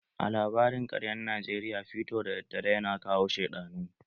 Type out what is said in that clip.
A labarin ƙaryan Najeriya fiito daddare ya na kawo sheɗanu.